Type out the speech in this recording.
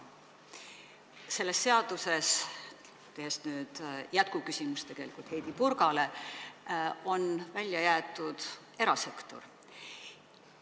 Sellest seadusest – see on tegelikult Heidy Purga küsimuse jätk – on välja jäetud erasektor.